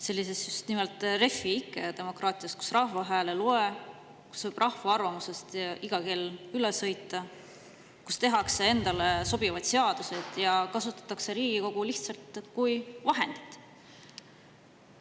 Sellises just nimelt Refi ikke demokraatias, kus rahva hääl ei loe, kus rahva arvamusest saab iga kell üle sõita, kus tehakse endale sobivaid seadusi ja kasutatakse Riigikogu lihtsalt kui vahendit.